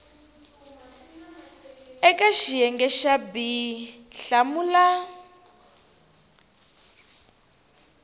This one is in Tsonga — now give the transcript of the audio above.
eka xiyenge xa b hlamula